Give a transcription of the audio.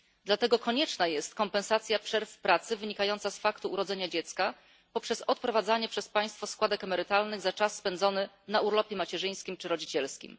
Dlatego konieczna jest kompensacja przerw w pracy wynikających z urodzenia dziecka poprzez odprowadzanie przez państwo składek emerytalnych za czas spędzony na urlopie macierzyńskim czy rodzicielskim.